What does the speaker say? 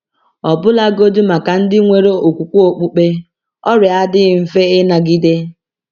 Ọbụlagodi maka ndị nwere okwukwe okpukpe, ọrịa adịghị mfe ịnagide.